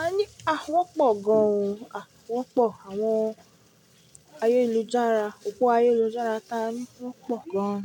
a ní wọ̀ pọ̀ gan-an, wọ̀ pọ̀, àwọn ayélujára, òpó ayélujára ta àní wọ̀ pọ̀ gan.